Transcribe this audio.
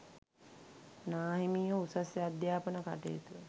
නාහිමියෝ උසස් අධ්‍යාපන කටයුතු